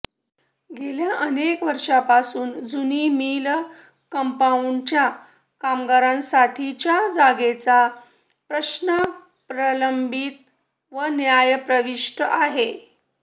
गेल्या अनेक वर्षापासून जुनी मिल कंपाऊंडच्या कामगारांसाठीच्या जागेचा प्रश्न प्रलंबित व न्यायप्रविष्ट आहे